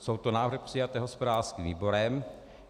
Jsou to návrhy přijaté hospodářským výborem.